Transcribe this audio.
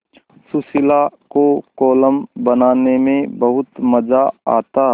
सुशीला को कोलम बनाने में बहुत मज़ा आता